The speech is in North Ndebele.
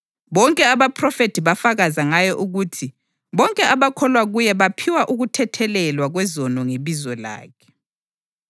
Bonke abaphrofethi bafakaza ngaye ukuthi bonke abakholwa kuye baphiwa ukuthethelelwa kwezono ngebizo lakhe.”